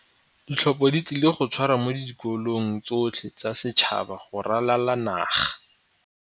Ditlhopho di tlile go tshwarwa mo dikolong tsotlhe tsa setšhaba go ralala naga.